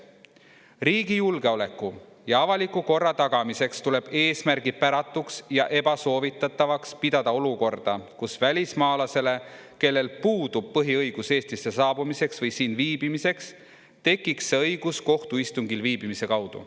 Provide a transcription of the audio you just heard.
Riigi julgeoleku ja avaliku korra tagamiseks tuleb eesmärgipäratuks ja ebasoovitatavaks pidada olukorda, kus välismaalasele, kellel puudub põhiõigus Eestisse saabumiseks või siin viibimiseks, tekiks see õigus kohtuistungil viibimise kaudu.